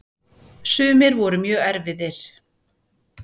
Sumir voru mjög erfiðir.